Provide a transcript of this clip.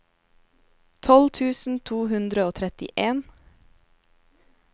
tolv tusen to hundre og trettien